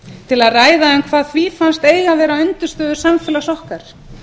til að ræða um hvað því fannst eiga að vera undirstöður samfélags okkar